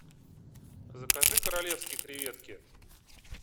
закажи королевские креветки